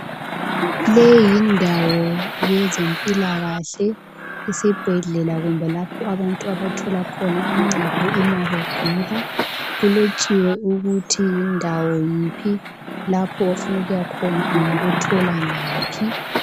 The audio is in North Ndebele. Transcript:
le yindawo yezempilakahle isibhedlela kumbe lapho abantu abathola khona uncedo ma begula kulotshiwe ukuthi yindawo yiphi lapho ofuna ukuyakhona ungakuthola ngaphi